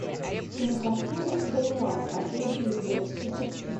кинокартина ренуар последняя любовь запусти